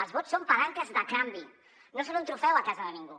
els vots són palanques de canvi no són un trofeu a casa de ningú